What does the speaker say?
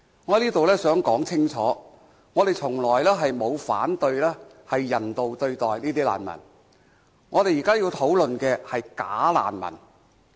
我想在這裏說清楚，我們從來沒有反對人道對待難民，我們現在要討論的是"假難民"。